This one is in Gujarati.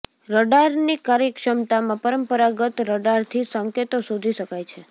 રડારની કાર્યક્ષમતામાં પરંપરાગત રડારથી સંકેતો શોધી શકાય છે